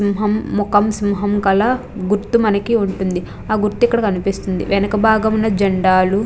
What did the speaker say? సింహం మొఖం సింహం కల గుర్తు మనకి ఉంటుంది అ గుర్తు ఇక్కడ కన్పిస్తుంది వెనుకభాగం లో జండాలు --